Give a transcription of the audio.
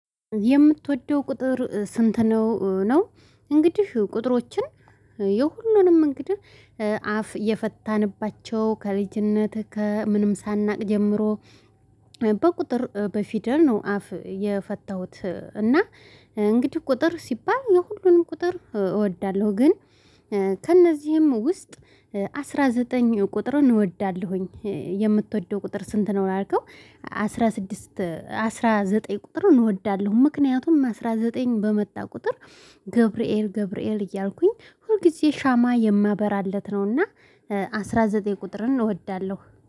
የምትወደው ቁጥር ስንት ነው? ነው እንግዲህ ቁጥሮችን የሁሉንም እንግዲህ አፍ የፈታንባቸው ከልጅነት ከምንም ሳናውቅ ጀምሮ በቁጥር በፊደል ነው አፍ የፈታሁት። እና እንግዲህ ቁጥር ሲባል የሁሉንም ቁጥር እወዳለሁ። ግን ከእነዚህም ውስጥ አስራ ዘጠኝ ቁጥርን እንወዳለሁኝ። የምትወደው ቁጥር ስንት ነው ያልከው? አስራ ስድስት አስራ ዘጠኝ ቁጥሩን እወዳለሁ። ምክንያቱም አስራ ዘጠኝ በመጣ ቁጥር ገብርኤል ገብርኤል እያልኩኝ ሁልጊዜ ሻማ የማበራለት ነውና አስራ ዘጠኝ ቁጥርን እወዳለሁ